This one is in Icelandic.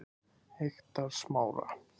Eyktarsmára